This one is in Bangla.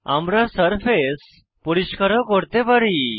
আমরা সারফেস পরিষ্কার ও করতে পারি